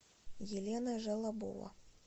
елена желобова